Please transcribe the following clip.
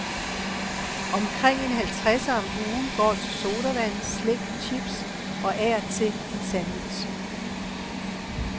Omkring en halvtredser om ugen går til sodavand, slik, chips, og af og til en sandwich.